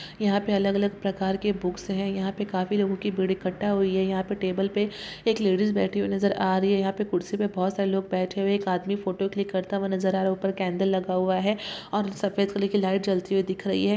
यहा पे अलग अलग प्रकार के बुकस है यहा पे काफी लोगो की भीड़ इकट्ठा हुई है यहा पे टेबल पे एक लेडीस बैठी हुई नजर आ रही है यहा पे कुर्सी पे बोहोत सारे लोग बैठे हुए है एक आदमी फोटो क्लिक करता हुआ नजर आ रहा है उपर कुडल लगा हुआ है और सफेद फुली की लाइट जलती हुई दीख रही है।